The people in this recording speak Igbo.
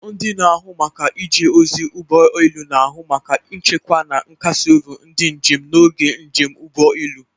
Ndị na-ahụ maka ije ozi na ụgbọ elu na-ahụ maka nchekwa na nkasi obi ndị njem n'oge njem ụgbọ elu.